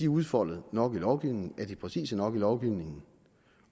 udfoldet nok i lovgivningen er præcise nok i lovgivningen